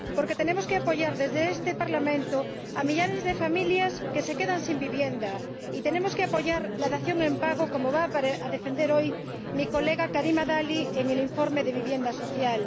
Porque tenemos que apoyar desde este Parlamento a millares de familias que se quedan sin vivienda, y tenemos que apoyar la dación en pago, como va a defender hoy mi colega Karima Delli en el informe sobre vivienda social.